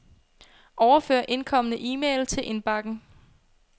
Overfør indkomne e-mail til indbakken.